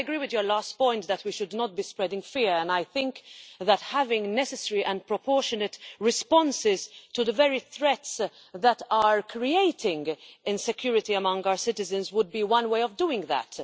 Well, I agree with your last point, that we should not be spreading fear, and I think that having necessary and proportionate responses to the very threats that are creating insecurity amongst our citizens would be one way of doing that.